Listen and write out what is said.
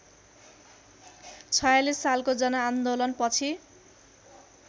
०४६ सालको जनआन्दोलनपछि